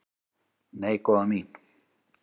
"""Nei, góða mín."""